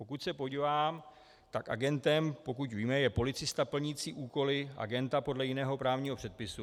Pokud se podívám, tak agentem, pokud víme, je policista plnící úkoly agenta podle jiného právního předpisu.